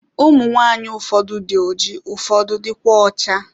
Ụmụ nwaanyị ụfọdụ dị oji ụfọdụ dịkwa ọcha.